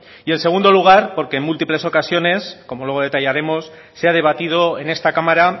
y en segundo lugar porque en múltiples ocasiones como luego detallaremos se ha debatido en esta cámara